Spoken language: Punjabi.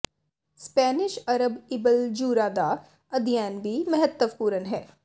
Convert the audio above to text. ਸਪੈਨਿਸ਼ ਅਰਬ ਇਬਨ ਜੂਰਾ ਦਾ ਅਧਿਐਨ ਵੀ ਮਹੱਤਵਪੂਰਨ ਹੈ